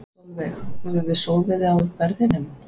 Sólveig: Höfum við sofið á verðinum?